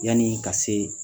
Yanni ka se